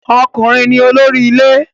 Ọkùnrin ni olórí ilé